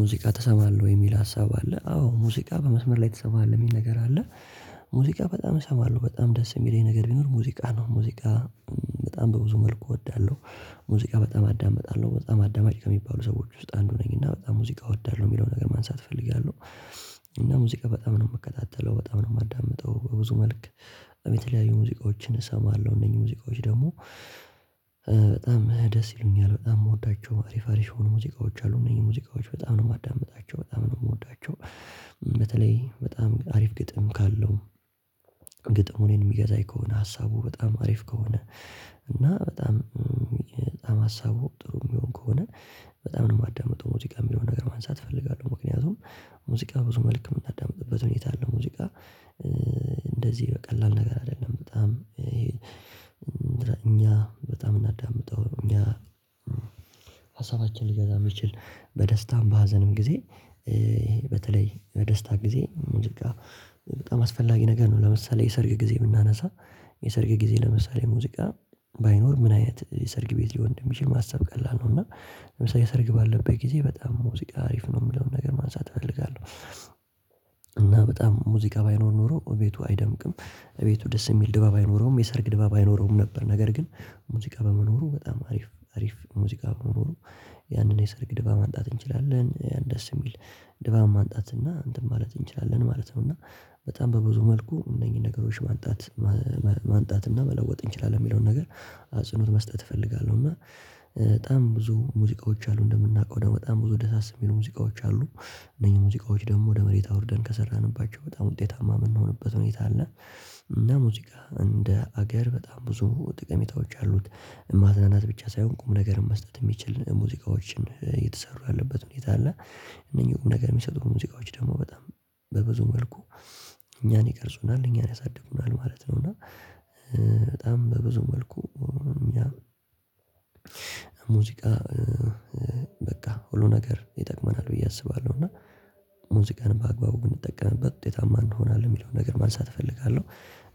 ሙዚቃ ተሰማለህ ወይ? የሚል ሀሳብ አለ አዎ ሙዚቃ በመስመር ላይ ትሰማለህ የሚል ነገር አለ። ሙዚቃ በጣም እሰማለሁ በጣም ደስ የሚለኝ ነገር ቢኖር ሙዚቃ ነው ሙዚቃ በጣም በብዙ መልኩ እወዳለሁ። ሙዚቃ በጣም አዳምጣለሁ በጣም አዳማጭ ከሚባሉ ሰዎች ውስጥ አንዱ ነኝ እና በጣም ሙዚቃ እወዳለሁ የሚለውን ነገር ማንሳት እፈልጋለሁ። እና ሙዚቃ በጣም ነው የምከታተለው በጣም ነው የማዳምጠው በብዙ መልክ የተለያዩ ሙዚቃዎችን እሰማለሁ እነኚህ ሙዚቃዎች ደግሞ በጣም ደስ ይሉኛል። በጣም የምወዳቸው አሪፍ አሪፍ የሆኑ ሙዚቃዎች አሉ እነዚህ ሙዚቃዎች በጣም ነው የማዳምጣቸው በጣም ነው የምወዳቸው። በተለይ በጣም አሪፍ ግጥም ካለው ግጥሙ እኔን የሚገዛኝ ከሆነ ሀሳቡ በጣም አሪፍ ከሆነ እና በጣም በጣም ሀሳቡ ጥሩ የሚሆን ከሆነ በጣም ነው የማዳምጠው ሙዚቃ የሚለውን ነገር ማንሳት እፈልጋለሁ ምክንያቱም ሙዚቃ ብዙ መልክ የምናዳምጥበት ሁኔታ አለ። ሙዚቃ እንደዚህ በቀላል ነገር አይደለም በጣም እኛ በጣም የምናዳምጠው እኛ ሀሳባችን ሊገዛ የሚትችል በደስታም በሀዘንም ጊዜ በተለይ በደስታ ጊዜ ሙዚቃ በጣም አስፈላጊ ነገር ነው። ለምሳሌ የሰርግ ጊዜ ብምናነሳ የሰርግ ጊዜ ለምሳሌ ሙዚቃ ባይኖር ምን አይነት የሰርግ ቤት ሊሆን የሚችል ማሰብ ቀላል ነው። እና ለምሳሌ ሰርግ ባለበት ጊዜ በጣም ሙዚቃ አሪፍ ነው የምለውን ነገር ማንሳት እፈልጋለሁ። እና በጣም ሙዚቃ ባይኖር ኖሮ እቤቱ አይደምቅም እቤቱ ደስ የሚል ድባብ አይኖረውም የሰርግ ድባብ አይኖረውም ነበር። ነገር ግን ሙዚቃ በመኖሩ በጣም አሪፍ አሪፍ ሙዚቃ በመኖሩ ያንን የሰርግ ድባብ ማምጣት እንችላለን ደስ የሚል ድባብ ማምጣት እና እንትን ማለት እንችላለን ማለት ነው። እና በጣም በብዙ መልኩ እነኚህን ነገሮች ማምጣት ማምጣት እና መለወጥ እንችላለን የሚለውን ነገር አጽኖት መስጠት እፈልጋለሁ እና በጣም ብዙ ሙዚቃዎች አሉ። እንደምናውቀው ደግሞ በጣም ብዙ ደስ የሚሉ ሙዚቃዎች አሉ እነኚህ ሙዚቃዎች ደግሞ ወደ መሬት አውርደን ከሰራንባቸው በጣም ውጤታማ የምንሆንበት ሁኔታ አለ። እና ሙዚቃ እንደ አገር በጣም ብዙ ጠቀሚታዎች አሉት ማዝናናት ብቻ ሳይሆን ቁም ነገር መስጠት የሚችል ሙዚቃዎችን የተሰሩ ያለበት ሁኔታ አለ እነኚህ ቁም ነገር የሚሰጡ ሙዚቃዎች ደግሞ በጣም በብዙ መልኩ እኛን ይቀርጹናል እኛን ያሳድጉናል ማለት ነው። እና በጣም በብዙ መልኩ እኛ ሙዚቃ በቃ ሁሉ ነገር ይጠቅመናል ብዬ አስባለሁ እና ሙዚቃን በአግባቡ ብንጠቀምበት ውጤታማ እንሆናለን የሚለውን ነገር ማንሳት እፈልጋለሁ።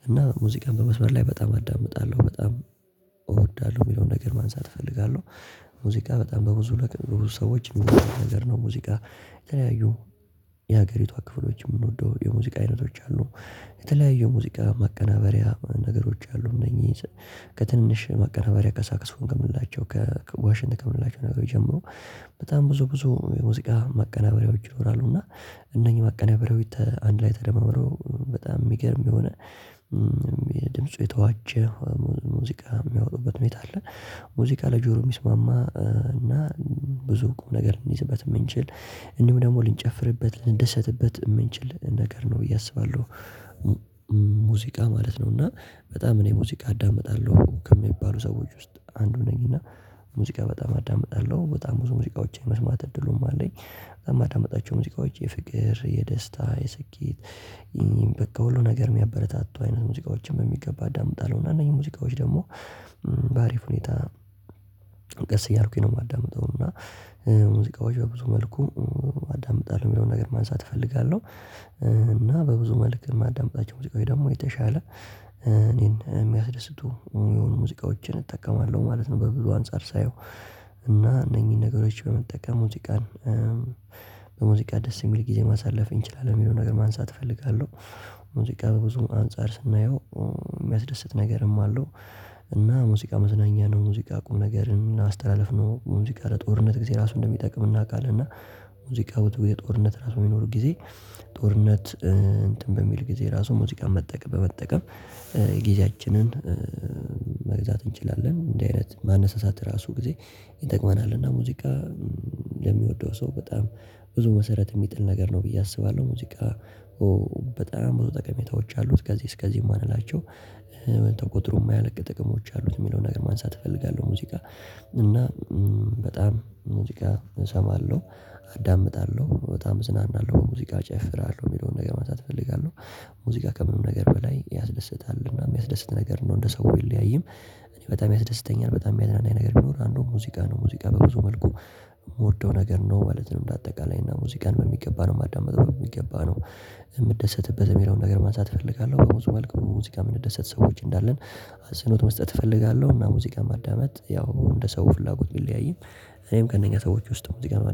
እና ሙዚቃን በመስመር ላይ በጣም አዳምጣለሁ በጣም እወዳለሁ የሚለውን ነገር ማንሳት እፈልጋለሁ ሙዚቃ በጣም በብዙ ሰዎች የሚወደድ ነገር ነው። ሙዚቃ የተለያዩ የሀገሪቷ ክፍሎች የምንወደው የሙዚቃ አይነቶች አሉ የተለያዩ ሙዚቃ ማቀናበሪያ ነገሮች አሉ እነኚህ ከትንሽ ማቀናበሪያ ከሳክፎን ከምላቸው ከዋሽንት ከምላቸው ነገሮች ጀምሮ በጣም ብዙ ብዙ የሙዚቃ ማቀናበሪያዎች ይኖራሉ። እና እነኚህ ማቀናበሪያዎች አንድ ላይ ተደማመረው በጣም የሚገርም የሆነ የድምፁ የተዋጀ ሙዚቃ የሚያወጡበት ሁኔታ አለ። ሙዚቃ ለጆሮ ጆሮ የሚስማማ እና ብዙ ቁም ነገር እንይዝበት የምንችል እንዲሁ ደግሞ ልንጨፍርበት ልንደሰትበት የምንችል ነገር ነው ብዬ አስባለሁ። ሙዚቃ ማለት ነው እና በጣም እኔ ሙዚቃ አዳምጣለሁ ከሚባሉ ሰዎች ውስጥ አንዱ ነኝ እና ሙዚቃ በጣም አዳምጣለሁ በጣም ብዙ ሙዚቃውችን የመስማት እድሉም አለኝ። በጣም የማዳምጣቸው ሙዚቃዎች የፍቅር የደስታ የስኬት በቃ ሁሉ ነገር የሚያበረታቱ አይነት ሙዚቃዎችን በሚገባ አዳምጣለሁ እና እነኚህ ሙዚቃዎች ደግሞ በአሪፍ ሁኔታ ቀስ እያልኩኝ ነው የማዳምጠው እና ሙዚቃዎች በብዙ መልኩ አዳምጣለሁ የሚለውን ነገር ማንሳት እፈልጋለሁ። እና በብዙ መልክ ማዳምጣቸው ሙዚቃዎች ደግሞ የተሻለ እኔን የሚያስደስቱ የሆኑ ሙዚቃዎችን እጠቀማለሁ ማለት ነው። በብዙ አንፃር ሳየው እና እነኚህን ነገሮች በመጠቀሙ ሙዚቃን በሙዚቃ ደስ የሚል ጊዜ ማሳለፍ እንችላለን የሚለውን ነገር ማንሳት እፈልጋለሁ። ሙዚቃ በብዙ አንፃር ስናየው የሚያስደስት ነገርም አለው እና ሙዚቃ መዝናኛ ነው ሙዚቃ ቁም ነገርን አስተላልኢ ነው ሙዚቃ ለጦርነት ጊዜ ራሱ እንደሚጠቅም እናውቃለን። እና ሙዚቃ የጦርነት ራሱ የሚኖር ጊዜ ጦርነት እንትን በሚል ጊዜ ራሱ ሙዚቃን መጠቀም በመጠቀም ጊዜያችንን መግዛት እንችላለን እንደዚህ አይነት ማነሳሳት ራሱ ጊዜ ይጠቅመናል። እና ሙዚቃ ለሚወደው ሰው በጣም ብዙ መሰረት የሚጥል ነገር ነው ብዬ አስባለሁ። ሙዚቃ በጣም ብዙ ጠቀሜታዎች አሉት ከዚህ እስከዚህ የማንላቸው ቁጥሩ የማያልቅ ጥቅሞች አሉት የሚለውን ነገር ማንሳት እፈልጋለሁ። ሙዚቃ እና በጣም ሙዚቃ እሰማለሁ አዳምጣለሁ በጣም እዝናናለሁ ሙዚቃ ጨፍራለሁ የሚለውን ነገር ማሳት እፈልጋለሁ። ሙዚቃ ከምንም ነገር በላይ ያስደስታል እና የሚያስደስት ነገር ነው እንደ ሰው ቢለያይም እኔ በጣም ያስደስተኛል በጣም የሚያድናናኝ ነገር ቢኖር አንዱ ሙዚቃ ነው። ሙዚቃ በብዙ መልኩ የምወደው ነገር ነው ማለት ነው። እንደ አጠቃላይ እና ሙዚቃን በሚገባ ነው ማዳምጠው በሚገባ ነው የምትደሰትበት የሚለውን ነገር ማንሳት እፈልጋለሁ በብዙ መልኩ ሙዚቃ የምትደሰት ሰዎች እንዳለን አጸኖት መስጠት እፈልጋለሁ። እና ሙዚቃ ማዳመጥ ያው እንደ ሰው ፍላጎት የሚለያይም እኔም ከእነኛ ሰዎች ውስጥ በብዙ ጋር